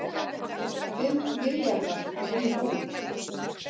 Fimm milljarðar runnu út